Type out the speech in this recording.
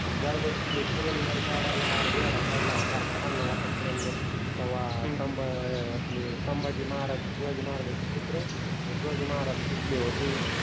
ज्यावेळेस ते पुरंदर गडाला वेडा पडला होता पन्हाळ्याचा पुरंदर तव्वा हम्म सम्भा हे आपले सम्भाजि महाराज शिवाजि महाराजाचे पुत्र आणि शिवाजि महाराज गुतले हिते